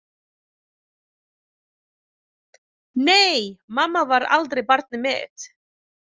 Nei mamma var aldrei barnið mitt.